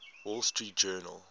wall street journal